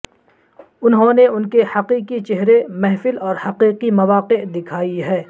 انہوں نے ان کے حقیقی چہرے محفل اور حقیقی مواقع دکھائی ہے